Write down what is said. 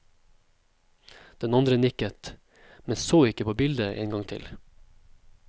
Den andre nikket, men så ikke på bildet en gang til.